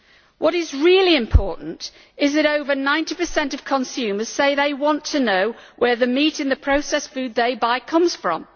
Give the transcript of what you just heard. What is really important is that over 90 of consumers say they want to know where the meat in the processed food they buy comes from.